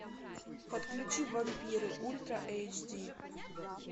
подключи вампиры ультра эйч ди